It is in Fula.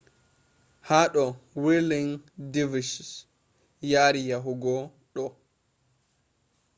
hado whirling dervishes yari yahugo do stage